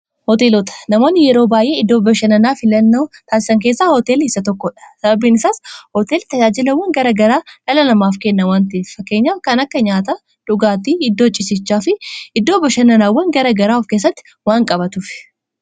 hooteelota namoonni yeroo baa'ee iddoo bashananaa fi lannao taasisan keessaa hootel isa tokkodha sababiin isaas hootel tajaajilawwan gara garaa lalalamaaf kenna wanti fakkeenya kan akka nyaata dhugaatii iddoo cisichaa fi iddoo bashananaawwan gara garaa of keessatti waan qabatuf